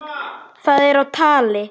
Það er á tali.